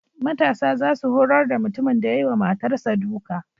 Matasa za su horar da mutumin da ya yi wa matarsa duka.